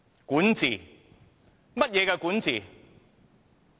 管治是怎樣的管治？